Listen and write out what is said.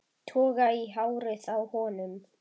Toga í hárið á honum.